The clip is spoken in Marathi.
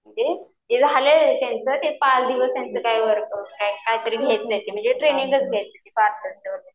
म्हणजे ते झालंय त्यांचं ते पाच दिवस काहीतरी म्हणजे ट्रेनिंगचा घ्यायची होती